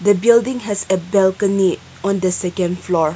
the building has a balcony on the second floor